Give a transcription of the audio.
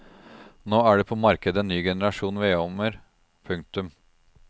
Nå er det på markedet en ny generasjon vedovner. punktum